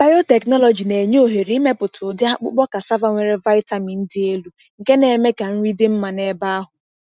Biotechnology na-enye ohere ịmepụta ụdị akpụkpọ cassava nwere vitamin dị elu, nke na-eme ka nri dị mma n’ebe ahụ.